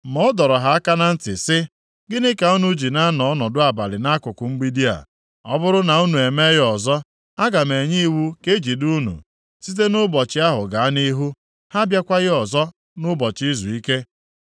Ma a dọrọ ha aka na ntị, sị, “Gịnị ka unu ji na-anọ ọnọdụ abalị nʼakụkụ mgbidi a? Ọ bụrụ na unu eme ya ọzọ, aga m enye iwu ka e jide unu.” Site nʼụbọchị ahụ gaa nʼihu, ha abịakwaghị ọzọ nʼụbọchị izuike.